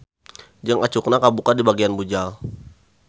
Jeung acukna kabuka dibagian bujal.